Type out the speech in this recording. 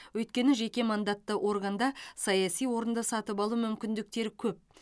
өйткені жеке мандатты органда саяси орынды сатып алу мүмкіндіктері көп